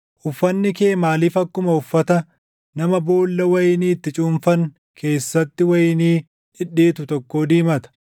Uffanni kee maaliif akkuma uffata nama boolla wayinii itti cuunfan keessatti // wayinii dhidhiitu tokkoo diimata?